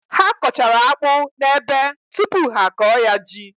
Ha kọchara akpụ n’ebe tupu ha akọ ya ji